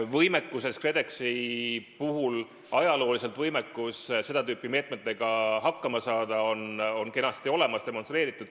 Võimekus KredExi puhul seda tüüpi meetmetega hakkama saada on ajalooliselt kenasti olemas, seda on demonstreeritud.